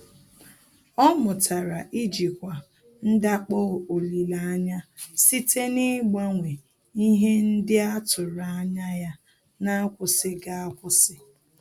Ọ́ mụ́tàrà íjíkwá ndakpọ olileanya site n’ị́gbànwé ihe ndị a tụ́rụ́ ányá ya n’ákwụ́sị́ghị́ ákwụ́sị́.